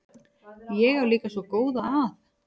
Ég á líka svo góða að.